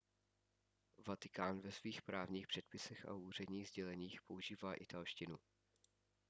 vatikán ve svých právních předpisech a úředních sděleních používá italštinu